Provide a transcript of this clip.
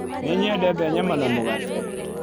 Nĩ nyendete nyama na mũgate.